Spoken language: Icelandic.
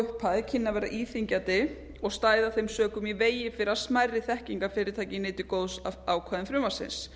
upphæð kynni að vera íþyngjandi og stæði af þeim sökum í vegi fyrir að smærri þekkingarfyrirtæki nytu góðs af ákvæðum frumvarpsins